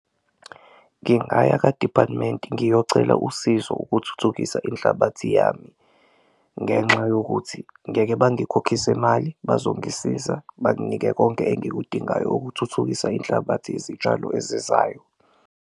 Ngingaya ka-department ngiyocela usizo ukuthuthukisa inhlabathi yami ngenxa yokuthi ngeke bangikhokhise mali, bazongisiza banginike konke engikudingayo ukuthuthukisa inhlabathi yezitshalo ezizayo.